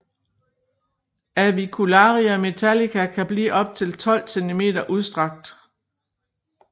Avicularia metallica kan blive op til 12 cm udstrakt